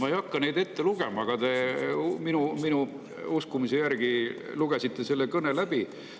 Ma ei hakka neid ette lugema, ma usun, et te lugesite selle kõne läbi.